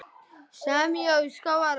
Basar og lífrænar smákökur